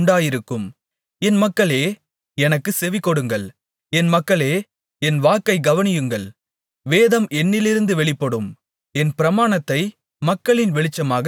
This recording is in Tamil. என் மக்களே எனக்குச் செவிகொடுங்கள் என் மக்களே என் வாக்கைக் கவனியுங்கள் வேதம் என்னிலிருந்து வெளிப்படும் என் பிரமாணத்தை மக்களின் வெளிச்சமாக நிறுவுவேன்